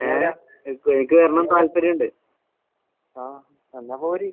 ആഹ് എന്നാ പോര്.